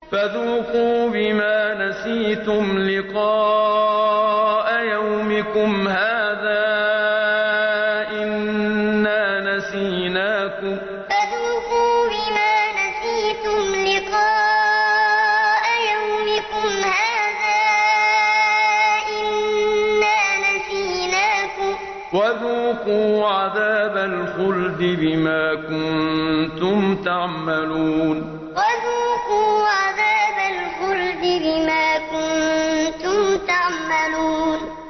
فَذُوقُوا بِمَا نَسِيتُمْ لِقَاءَ يَوْمِكُمْ هَٰذَا إِنَّا نَسِينَاكُمْ ۖ وَذُوقُوا عَذَابَ الْخُلْدِ بِمَا كُنتُمْ تَعْمَلُونَ فَذُوقُوا بِمَا نَسِيتُمْ لِقَاءَ يَوْمِكُمْ هَٰذَا إِنَّا نَسِينَاكُمْ ۖ وَذُوقُوا عَذَابَ الْخُلْدِ بِمَا كُنتُمْ تَعْمَلُونَ